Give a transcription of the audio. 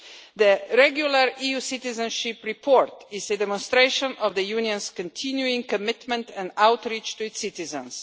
The regular EU Citizenship Report is a demonstration of the Union's continuing commitment and outreach to its citizens.